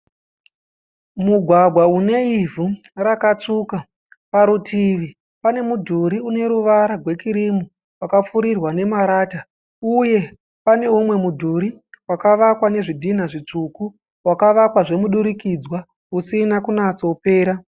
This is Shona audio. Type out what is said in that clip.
Mugwagwa une ivhu rakatsvuku. Parutivi pane mudhuri une ruvara rwekirimu wakapfurirwa nemarata. Uye pane umwe mudhuri wakavakwa nezvidhinha zvitsvuku wakavakwa zvemudurikidzirwa usina kunatso pera.